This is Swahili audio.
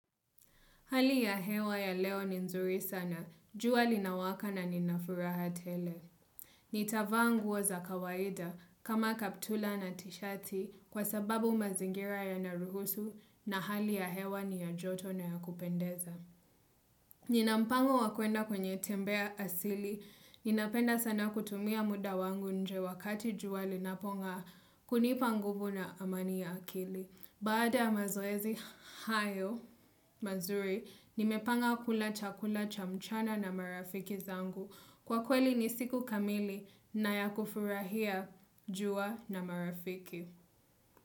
Hali ya hewa ya leo ni nzuri sana, jua linawaka na ninafuraha tele. Nitavaa nguo za kawaida kama kaptula na tishati kwa sababu mazingira yanaruhusu na hali ya hewa ni ya joto na ya kupendeza. Ninampango wa kuenda kwenye tembea asili, ninapenda sana kutumia muda wangu nje wakati jua linapong'aa kunipa nguvu na amani ya akili. Baada ya mazoezi hayo, mazuri, nimepanga kula chakula cha mchana na marafiki zangu. Kwa kweli ni siku kamili na ya kufurahia jua na marafiki.